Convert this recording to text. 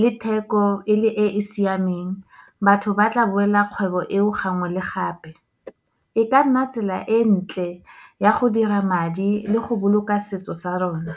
le theko e le e e siameng, batho ba tla boela kgwebo eo gangwe le gape. E ka nna tsela e ntle, ya go dira madi le go boloka setso sa rona.